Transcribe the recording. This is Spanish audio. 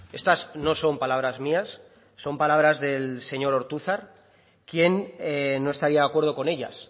estas no son palabras mías son palabras del señor ortúzar quién no estaría de acuerdo con ellas